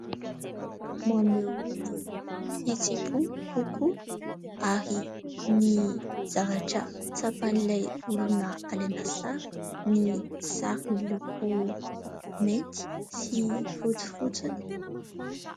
Maneho ny fihetsem-po kokoa ary ny zavatra tsapan'ilay olona alaina sary ny sary miloko mainty sy fotsy fotsiny.